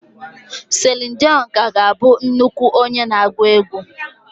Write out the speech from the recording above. Celine dion ka ga-abụ nnukwu onye na-agụ egwú.